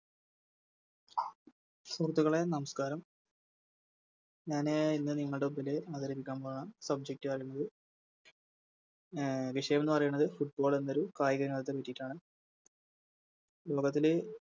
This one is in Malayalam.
സുഹൃത്തുക്കളെ നമസ്ക്കാരം ഞാന് ഇന്ന് നിങ്ങടെ മുമ്പില് അവതരിപ്പിക്കാൻ പോന്ന Subject അല്ലെങ്കില് വിഷയംന്ന് പറയുന്നത് Football എന്നൊരു കായിക ഇനത്തെ പറ്റിട്ടാണ് ലോകത്തിലെ